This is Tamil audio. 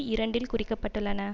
இரண்டில் குறிக்கப்பட்டுள்ளன